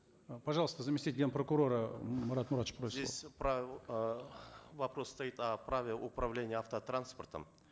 э пожалуйста заместитель ген прокурора марат муратович просит здесь про э вопрос стоит о праве управления автотранспортом